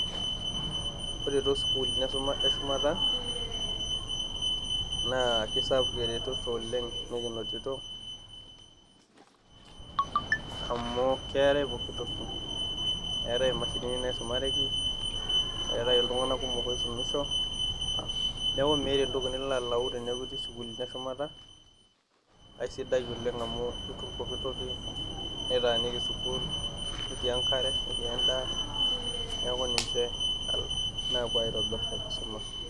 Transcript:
Ore too sukulini e shumata naa ke sapuk eretoto oleng' nikinotito, amu keetai pooki toki, eatai imashinini naisumareki, eatai iltung'anak kumok oisumisho. Neaku meatai entoki nilo alayu teneaku itii isukulini e shumata. Aisidai oleng' amu itum pooki toki, nitaaniki sukuul, netii enkare netii endaaa, neaku ninche naapuo aitobir enkisoma.